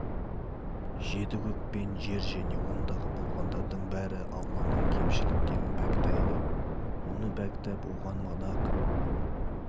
жеті көк пен жер және ондағы болғандардың бәрі алланы кемшіліктен пәктейді оны пәктеп оған мадақ